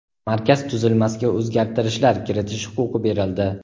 markaz tuzilmasiga o‘zgartirishlar kiritish huquqi berildi.